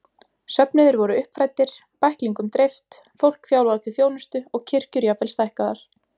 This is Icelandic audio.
Söfnuðir voru uppfræddir, bæklingum dreift, fólk þjálfað til þjónustu og kirkjur jafnvel stækkaðar.